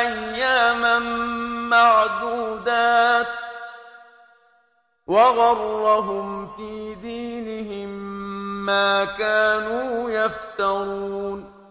أَيَّامًا مَّعْدُودَاتٍ ۖ وَغَرَّهُمْ فِي دِينِهِم مَّا كَانُوا يَفْتَرُونَ